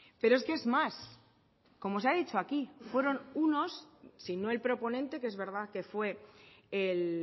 pero es que es más como se ha dicho aquí fueron unos si no el proponente que es verdad que fue el